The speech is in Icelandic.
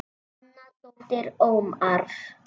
Anna dóttir Ómars.